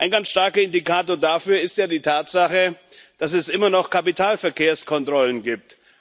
Ein ganz starker Indikator dafür ist ja die Tatsache, dass es immer noch Kapitalverkehrskontrollen gibt.